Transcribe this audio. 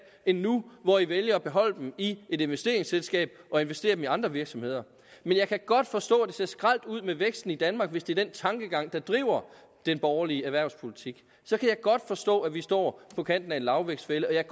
end nu hvor i vælger at beholde dem i et investeringsselskab og investere dem i andre virksomheder jeg kan godt forstå at det ser skralt ud med væksten i danmark hvis det er den tankegang der driver den borgerlige erhvervspolitik så kan jeg godt forstå at vi står på kanten af en lavvækstfælde og jeg